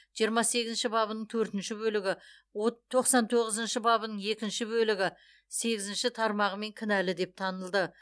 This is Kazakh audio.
жиырма сегізінші бабының төртінші бөлігі от тоқсан тоғызыншы бабының екінші бөлігі сегізінші тармағымен кінәлі деп танылды